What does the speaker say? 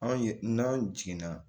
An ye n'an jiginna